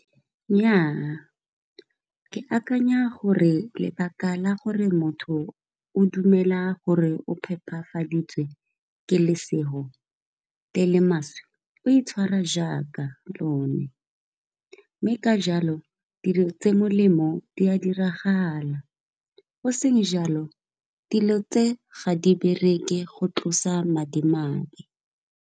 Nnyaa ke akanya gore lebaka la gore motho o dumela gore o phepafaditse ke lesego le le maswe, o itshwara jaaka lone mme ka jalo dilo tse di molemo di a diragala. Go seng jalo dilo tse ga di bereke go tlosa madimabe.